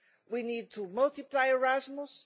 we need to multiply Erasmus